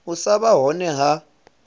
u sa vha hone ha